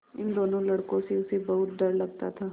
इन दोनों लड़कों से उसे बहुत डर लगता था